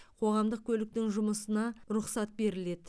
қоғамдық көліктің жұмысына рұқсат беріледі